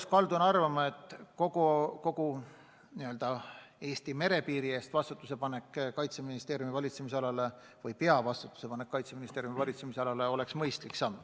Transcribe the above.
Ma kaldun arvama, et kogu Eesti merepiiri eest peavastutuse panek Kaitseministeeriumile oleks mõistlik samm.